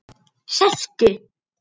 Sestu